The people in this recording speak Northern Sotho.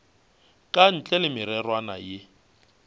ka ntle le mererwana ye